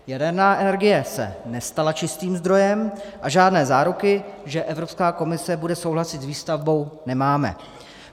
Jaderná energie se nestala čistým zdrojem a žádné záruky, že Evropská komise bude souhlasit s výstavbou, nemáme.